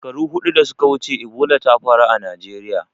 Shekaru huɗu da suka wuce Ebola ta faru a Najeriya.